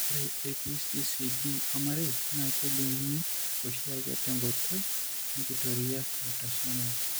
Ore ePCCD ormarei naa kejung'uni oshiake tenkoitoi enkitoria eautosomal.